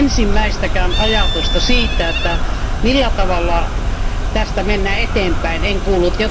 Ensimmäistäkään ajatusta siitä, millä tavalla tästä mennään eteenpäin, en kuullut.